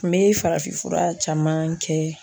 N bɛ farafinfura caman kɛ